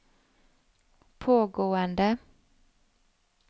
pågående